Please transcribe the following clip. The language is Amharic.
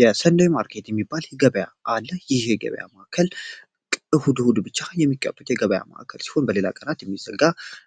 የሰንደይ ማርኬት የሚባል ገበያ አለ ይህ ገበያ ማዕከል እሁድ እሁድ ብቻ የሚከፈት የገበያ ማዕከል ሲሆን በሌላ ቀናት የሚዘጋ